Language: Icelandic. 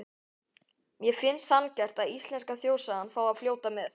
Mér finnst sanngjarnt að íslenska þjóðsagan fái að fljóta með.